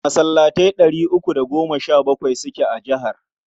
Masallatai ɗari uku da goma sha bakwai suke a jihar.